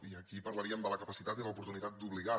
i aquí parlaríem de la capacitat i l’oportunitat d’obligar